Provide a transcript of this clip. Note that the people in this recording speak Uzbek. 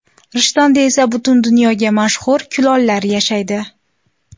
Rishtonda esa butun dunyoga mashhur kulollar yashaydi.